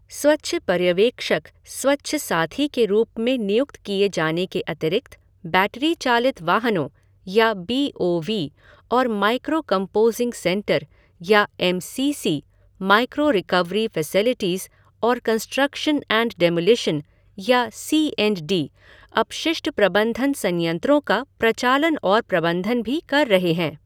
स्वच्छ पर्यवेक्षक, स्वच्छ साथी के रूप में नियुक्त किए जाने के अतिरिक्त, बैटरी चालित वाहनों या बी ओ वी और माइक्रो कंपोज़िंग सेंटर या M C C, micro recovery facilities और कंसट्रक्शन एंड डिमोलिशन या सी एंड डी, अपशिष्ट प्रबंधन संयंत्रों का प्रचालन और प्रबंधन भी कर रहे हैं।